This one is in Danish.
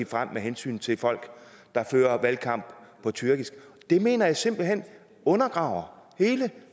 frem med hensyn til folk der fører valgkamp på tyrkisk og det mener jeg simpelt hen undergraver hele